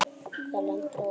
Það lendir á okkur.